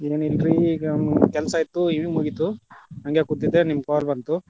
ಏನ್ ಇಲ್ರೀ ಈಗ ಕೆಲ್ಸಾ ಇತ್ತು ಈಗ್ ಮುಗಿತು, ಹಂಗೆ ಕುಂತಿದ್ದೆ ನಿಮ್ಮ call ಬಂತು.